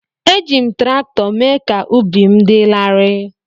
Eji m traktọ mee ka ubi m dị larịị.